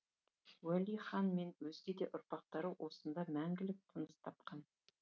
уәли хан мен өзге де ұрпақтары осында мәңгілік тыныс тапқан